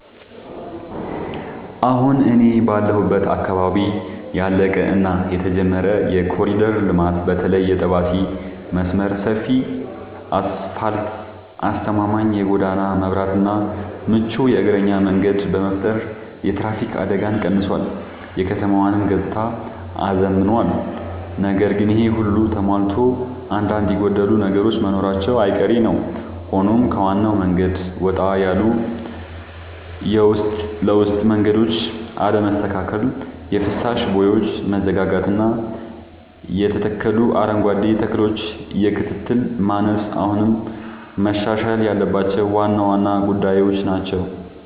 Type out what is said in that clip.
አሁን እኔ ባለሁበት አካባቢ ያለቀ እና የተጀመረ የኮሪደር ልማት (በተለይ የጠባሴ መስመር) ሰፊ አስፋልት: አስተማማኝ የጎዳና መብራትና ምቹ የእግረኛ መንገድ በመፍጠር የትራፊክ አደጋን ቀንሷል: የከተማዋንም ገጽታ አዝምኗል። ነገር ግን ይሄ ሁሉ ተሟልቶ አንዳንድ የጎደሉ ነገሮች መኖራቸው አይቀሬ ነዉ ሆኖም ከዋናው መንገድ ወጣ ያሉ የውስጥ ለውስጥ መንገዶች አለመስተካከል: የፍሳሽ ቦዮች መዘጋጋትና የተተከሉ አረንጓዴ ተክሎች የክትትል ማነስ አሁንም መሻሻል ያለባቸው ዋና ዋና ጉዳዮች ናቸው።